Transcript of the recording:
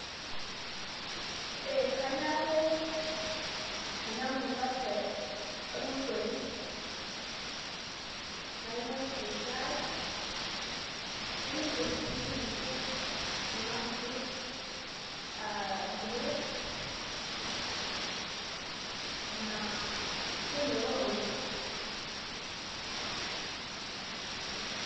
Ee kanya ake enamukate ormosori nainosie shai nainosie sininye kuna fruits a grapes na kemelok oleng.